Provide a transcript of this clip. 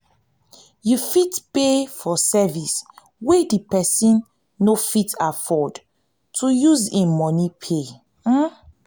you fit pay for service wey di person no fit afford to use im money pay